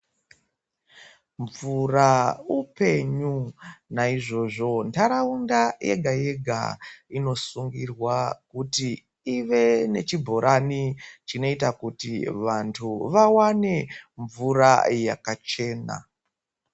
Mvura upenyu naizvozvo ndaraunda yega yega inosungirwa kuti ive nechibhorani chinoita kuti vantu vawane mvura yakachena.